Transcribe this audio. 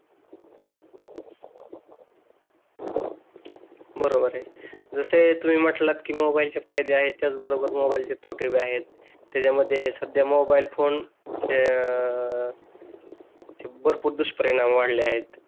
बरोबर आहे जसे तुम्ही म्हटलात की मोबाईलचे फायदे आहे त्याच बरोबर मोबाईलचे तोटे बी आहे त्याच्यामध्ये सध्या मोबाईल फोनचे भरपूर दुष्परिणाम वाढले आहेत